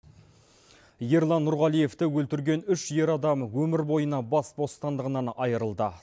ерлан нұрғалиевті өлтірген үш ер адам өмірбойына бас бостандығынан айырылды